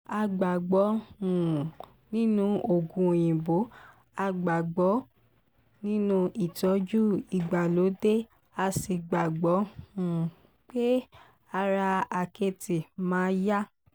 a gbàgbọ́ um nínú oògùn òyìnbó a gbàgbọ́ nínú ìtọ́jú ìgbàlódé a sì gbàgbọ́ um pé ara àkẹ́tì máa yá